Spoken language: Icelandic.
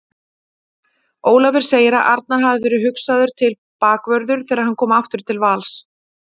Ólafur segir að Arnar hafi verið hugsaður til bakvörður þegar hann kom aftur til Vals.